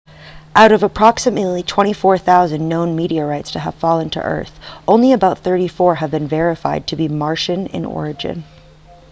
out of the approximately 24,000 known meteorites to have fallen to earth only about 34 have been verified to be martian in origin